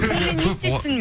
шынымен не істейсің